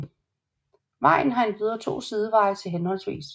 Vejen har endvidere to sideveje til hhv